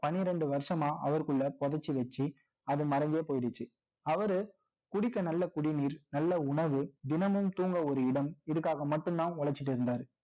பன்னிரண்டு வருஷமா, அவருக்குள்ள புதைச்சு வச்சு, அது மறைந்தே போயிடுச்சு. அவருஅவரு குடிக்க நல்ல குடிநீர், நல்ல உணவு தினமும் தூங்க ஒரு இடம் இதுக்காக மட்டும்தான் உழைச்சுட்டு இருந்தாரு